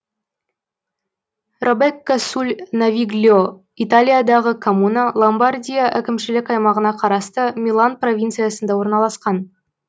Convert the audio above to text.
робекко суль навигльо италиядағы коммуна ломбардия әкімшілік аймағына қарасты милан провинциясында орналасқан